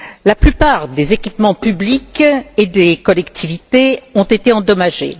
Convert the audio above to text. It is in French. La plupart des équipements publics et des collectivités ont été endommagés.